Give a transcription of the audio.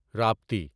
Rapti